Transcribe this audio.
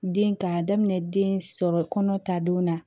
Den k'a daminɛ den sɔrɔ kɔnɔ ta donna